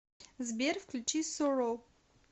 сбер включи суро